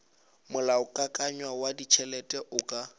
molaokakanywa wa ditšhelete o ka